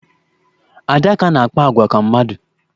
Adaká na-akpa agwa ka mmadụ.